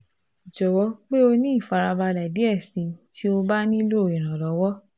jọwọ pe o ni ifarabalẹ diẹ sii ti o ba nilo iranlọwọ